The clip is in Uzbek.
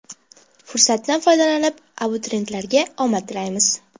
Fursatdan foydalanib, abituriyentlarga omad tilaymiz!